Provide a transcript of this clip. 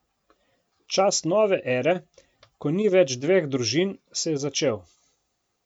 Čas nove ere, ko ni več dveh družin, se je začel.